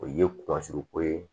O ye ko ye